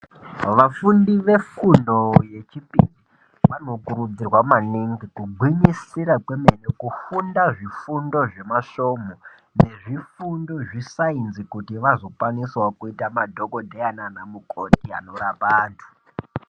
Vafundi vefundo yechipiri, vanokurudzirwa maningi kuti kugwinyisira kwemene kufunda zvifundo zvemasvomu, nezvifundo zvesainzi, kuti vazokwanisawo kuita madhokodheya naanamukoti anorapa antu.